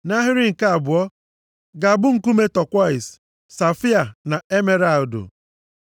nʼahịrị nke abụọ, ga-abụ nkume tọkwọisi, safaia na emeralụdụ.